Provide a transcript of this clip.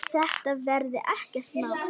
Þetta verði ekkert mál.